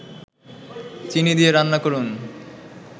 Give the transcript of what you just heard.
চিনি দিয়ে রান্না করুন